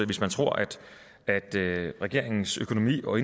hvis man tror at regeringens økonomi og